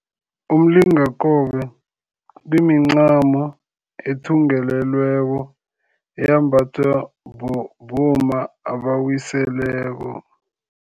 Umlingakobe kumincamo ethungelelelweko eyembathwa bomma abawiseleko.